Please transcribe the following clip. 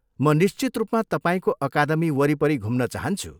म निश्चित रूपमा तपाईँको अकादमी वरिपरि घुम्न चाहन्छु।